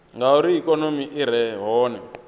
ngauri ikonomi i re hone